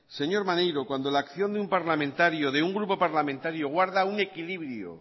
señor maneiro cuando la acción de un parlamentario de un grupo parlamentario guarda un equilibrio